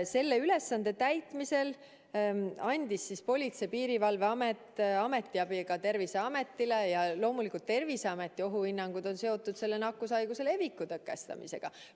Selle ülesande täitmisel andis siis Politsei‑ ja Piirivalveamet ametiabi ka Terviseametile ja loomulikult on Terviseameti ohuhinnangud seotud selle nakkushaiguse leviku tõkestamisega.